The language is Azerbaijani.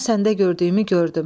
Mən səndə gördüyümü gördüm."